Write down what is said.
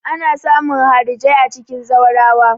Ana samun harijai a cikin zaurawa.